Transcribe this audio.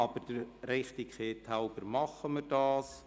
Aber der Richtigkeit halber tun wir das.